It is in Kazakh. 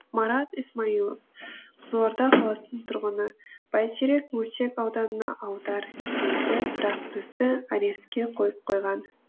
марат исмаилов қызылорда қаласының тұрғыны бәйтерек мөлтек ауданына аудар дейді бірақ бізді арестке қойып қойған